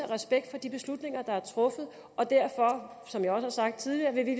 respekt for de beslutninger der er truffet og derfor som jeg også har sagt tidligere vil vi